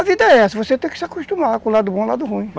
A vida é essa, você tem que se acostumar com o lado bom e o lado ruim.